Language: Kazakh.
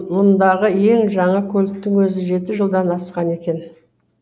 мұндағы ең жаңа көліктің өзі жеті жылдан асқан екен